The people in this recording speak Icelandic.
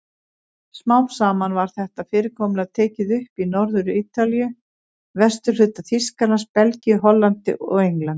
Smám saman var þetta fyrirkomulag tekið upp í Norður-Ítalíu, vesturhluta Þýskalands, Belgíu, Hollandi og Englandi.